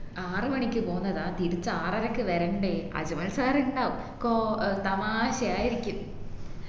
ആറുമണിക്ക് പോന്നതാ തിരിച്ച ആറരക്ക് വരണ്ടേ അജ്മൽ sir ഇണ്ടാവും കോ ഏർ തമാശയായിരിക്കും